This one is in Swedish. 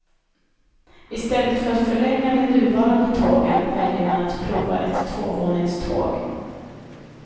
I stället för att förlänga de nuvarande tågen väljer man att prova ett tvåvåningståg.